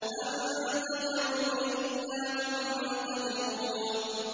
وَانتَظِرُوا إِنَّا مُنتَظِرُونَ